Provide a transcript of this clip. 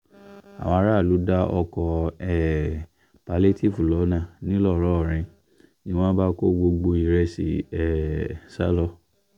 àwọn aráàlú dá ọkọ̀ um pálíétììfù lọ́nà ńlọrọrìn ni wọ́n bá kó gbogbo ìrẹsì um sá lọ